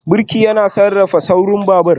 Birki yana sarrafa saurin babur